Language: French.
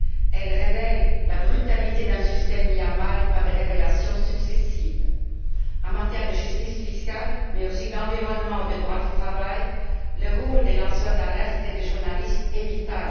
Il révèle la brutalité d'un système mis à mal par des révélations successives. En matière de justice fiscale, mais aussi d'environnement et de droit du travail, le rôle des lanceurs d'alerte et des journalistes est vital.